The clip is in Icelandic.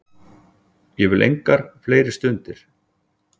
Ég vil engar fleiri stundir.